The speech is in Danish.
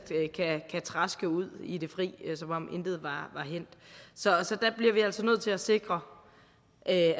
kan traske ud i det fri som om intet var hændt så vi bliver altså nødt til at sikre at